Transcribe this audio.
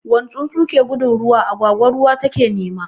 Wani tsuntsu ke gudun ruwa, agwagwa ruwa take nema.